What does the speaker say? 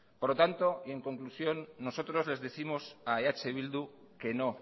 por lo tanto y en conclusión nosotros les décimos a eh bildu que no